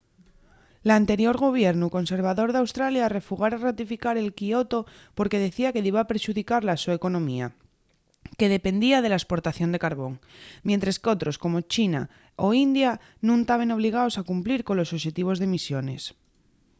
l'anterior gobiernu conservador d'australia refugara ratificar el kyoto porque decía que diba perxudicar la so economía que dependía de la esportación de carbón mientres qu'otros como india o china nun taben obligaos a cumplir colos oxetivos d'emisiones